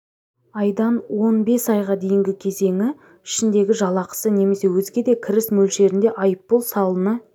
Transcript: айдан он бес айға дейінгі кезеңі ішіндегі жалақысы немесе өзге де кіріс мөлшерінде айыппұл салына